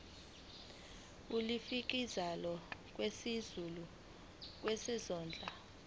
ulifiakela kwisikulu sezondlo